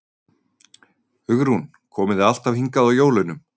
Hugrún: Komið þið alltaf hingað á jólunum?